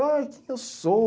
Ai, que que eu sou?